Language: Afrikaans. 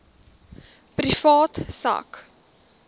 privaat sak